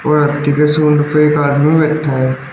और हाथी के सुंड पर एक आदमी बैठा हुआ है।